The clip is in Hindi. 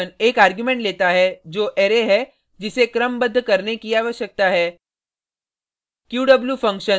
sort फंक्शन एक आर्गुमेंट लेता है जो अरै है जिसे क्रमबद्ध करने की आवश्यकता है